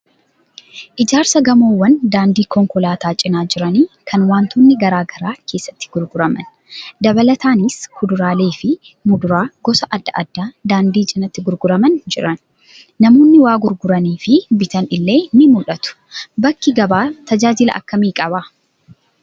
Ijaarsa gamoowwan daandii konkolaataa cinaa jiranii kan wantoonni garaa garaa keessatti gurguraman. Dabalataanis kuduraalee fi muduraa gosa adda addaa daandii cinaatti gurguramaa jiran. Namoonni waa gurguranii fi bitan illee ni mul'atu. Bakki gabaa tajaajila akkamii qaba?